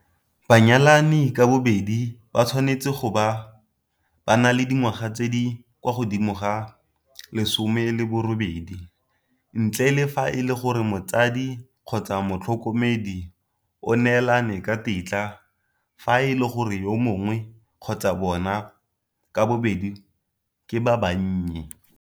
Banyalani ka bobedi ba tshwanetse go bo ba na le dingwaga tse di kwa godimo ga di le 18, ntle le fa e le gore motsadi kgotsa motlhoko medi o neelane ka tetla fa e le gore yo mongwe kgotsa bona ka bobedi ke ba bannye.